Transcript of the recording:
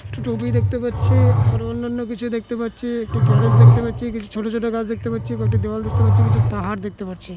একটি টোপি দেখতে পাচ্ছি আর অন্যান্য কিছু দেখতে পাচ্ছি একটি গ্যারেজ দেখতে পাচ্ছি কিছু ছোট ছোট গাছ দেখতে পাচ্ছি কয়েকটি দেওয়াল দেখতে পাচ্ছি কিছু পাহাড় দেখতে পাচ্ছি।